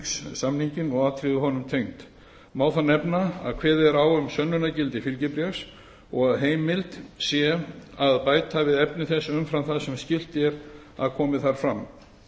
er flutningssamninginn og atriði honum tengd má þar nefna að kveðið er á um sönnunargildi fylgibréfs og að heimilt sé að bæta við efni þess umfram það sem skylt er að komi þar fram